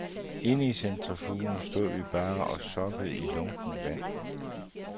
Inde i centrifugen stod vi bare og soppede i lunkent vand.